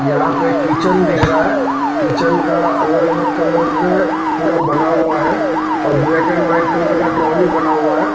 यहा पे एक किचन दिख रहा है किचन का अलग अलग कलर में पूरा बना हुआ है और ब्लैक एंड वाइट कलर का ध्रो भी बना हुआ है।